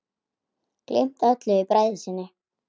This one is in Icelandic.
Gleymt öllu í bræði sinni.